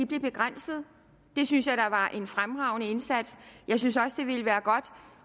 blev begrænset det synes jeg da var en fremragende indsats jeg synes også det ville være godt